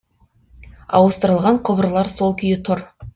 ауыстырылған құбырлар сол күйі тұр